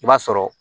I b'a sɔrɔ